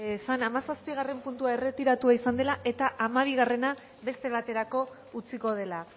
esan hamazazpigarren puntua erretiratua izan dela eta hamabigarrena beste baterako utziko dela